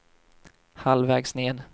halvvägs ned